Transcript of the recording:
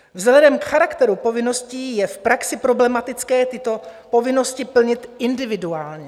Vzhledem k charakteru povinností je v praxi problematické tyto povinnosti plnit individuálně.